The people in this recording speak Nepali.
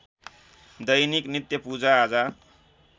दैनिक नित्य पूजाआजा